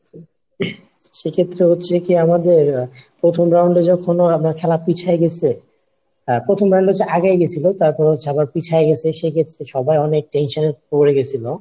সেক্ষেত্রে হচ্ছে কি আমাদের প্রথম round এ যখন আমরা খেলা পিছায়ে গেছে প্রথম round এ হচ্ছে আগায় গেছিলো তারপর হচ্ছে আবার পিছায় গেছে সেক্ষেত্রে সবাই অনেক tension এ পড়ে গেছিলো;